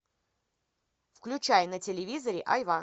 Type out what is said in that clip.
включай на телевизоре айва